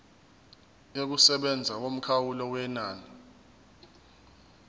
yokusebenza yomkhawulo wenani